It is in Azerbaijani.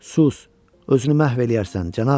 Sus, özünü məhv eləyərsən, cənab.